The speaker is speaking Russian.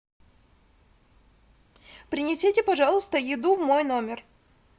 принесите пожалуйста еду в мой номер